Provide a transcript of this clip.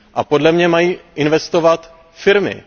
Podle mě mají investovat firmy.